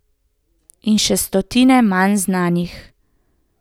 In še stotine manj znanih.